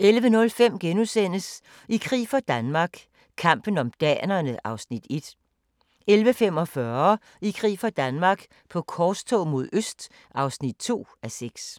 11:05: I krig for Danmark - kampen om danerne (1:6)* 11:45: I krig for Danmark - på korstog mod øst (2:6)